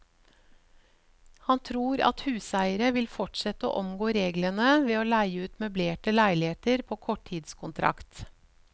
Han tror at huseiere vil fortsette å omgå reglene ved å leie ut møblerte leiligheter på kortidskontrakt.